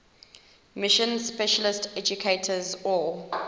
mission specialist educators or